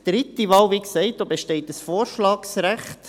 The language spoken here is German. Wie gesagt besteht bei der dritten Wahl ein Vorschlagsrecht.